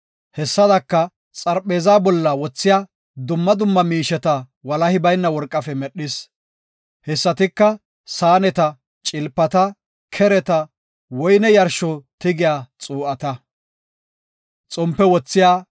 Hessadaka, xarpheezaa bolla wothiya dumma dumma miisheta walahi bayna worqafe medhis. Hessatika saaneta, cilpata, kereta, woyne yarshsho tigiya xuu7ata.